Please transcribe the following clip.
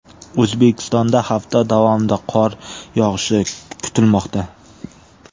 O‘zbekistonda hafta davomida qor yog‘ishi kutilmoqda.